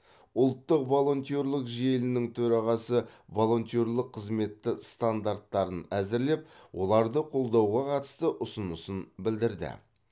ұлттық волонтерлік желінің төрағасы волонтерлік қызметті стандарттарын әзірлеп оларды қолдауға қатысты ұсынысын білдірді